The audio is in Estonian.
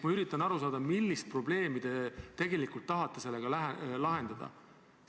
Ma üritan aru saada, millist probleemi te tegelikult tahate sellega lahendada.